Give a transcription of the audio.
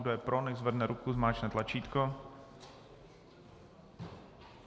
Kdo je pro, nechť zvedne ruku, zmáčkne tlačítko.